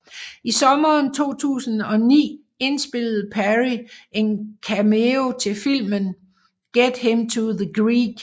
I sommeren 2009 indspillede Perry en cameo til filmen Get Him to the Greek